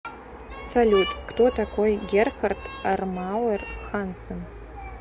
салют кто такой герхард армауэр хансен